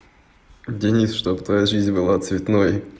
денис чтобы твоя жизнь была цветной